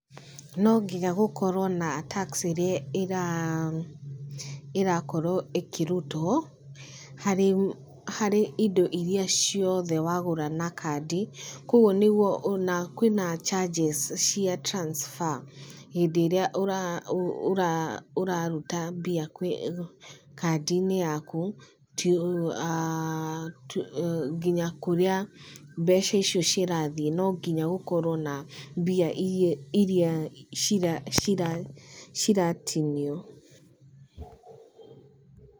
No nginya gũkorwo na tax ĩrĩa ĩrakorwo ĩkĩrutwo harĩ indo irĩa ciothe wagũra na kandi. Koguo nĩguo, na kwĩ na charges cia transfer hĩndĩ ĩrĩa ũraruta mbia kwĩ kandi-inĩ yaku aah nginya kũrĩa mbeca icio cirathiĩ. No nginya gũkorwo na mbia irĩa ciratinio.